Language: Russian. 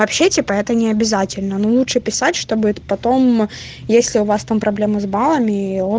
вообще типа это не обязательно но лучше писать чтобы потомм если у вас там проблемы с баллами и о